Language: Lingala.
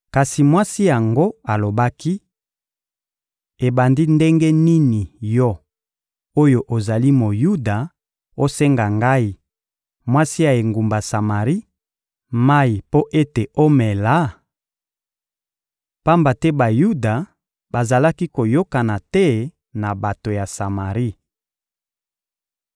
Kasi mwasi yango alobaki: — Ebandi ndenge nini yo oyo ozali Moyuda osenga ngai, mwasi ya engumba Samari, mayi mpo ete omela? —Pamba te Bayuda bazalaki koyokana te na bato ya Samari.—